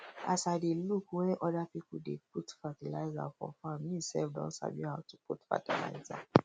as i dey look when other people dey put fertilizer for farm me sef don sabi how to put fertilizer